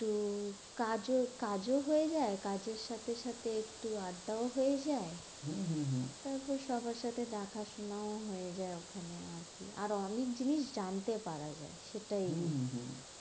একটু কাজও কাজও হয়ে যায়। কাজের সাথে সাথে আড্ডা ও হয়ে যায়। তারপর সবার সাথে দেখা শোনাও হয়ে যায় ওখানে। আর কি, আর অনেক জিনিস জানতে পারা যায়। সেটাই